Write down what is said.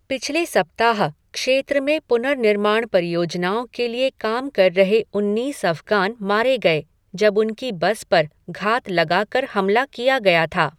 पिछले सप्ताह, क्षेत्र में पुनर्निर्माण परियोजनाओं के लिए काम कर रहे उन्नीस अफ़गान मारे गए, जब उनकी बस पर घात लगाकर हमला किया गया था।